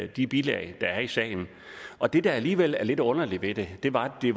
de bilag der er i sagen og det der alligevel er lidt underligt ved det var at det